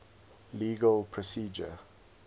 legal procedure